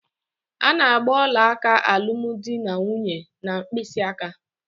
A na-agba ọlaaka alụmdinanwunye n'mkpịsịaka.